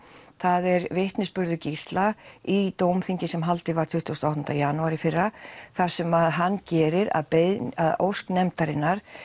er vitnisburður Gísla í dómþingi sem haldið var tuttugasta og áttunda janúar í fyrra þar sem hann gerir að ósk nefndarinnar